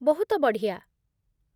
ବହୁତ ବଢ଼ିଆ ।